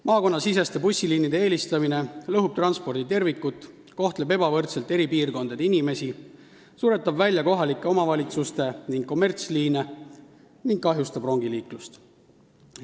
Maakonnasiseste bussiliinide eelistamine lõhub transporditervikut, kohtleb ebavõrdselt eri piirkondade inimesi, suretab välja kohalike omavalitsuste ja kommertsliine ning kahjustab rongiliiklust.